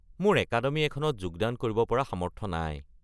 মোৰ একাডেমি এখনত যোগদান কৰিব পৰা সামৰ্থ্য নাই।